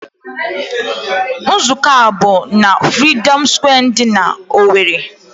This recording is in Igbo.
Nzụkọ a bụ n'Freedom Square dị n'Owerri.